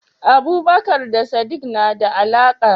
Abubakar da Sim na da alaka?